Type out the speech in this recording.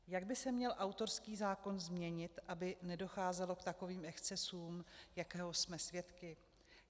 Jak by se měl autorský zákon změnit, aby nedocházelo k takovým excesům, jakého jsme svědky?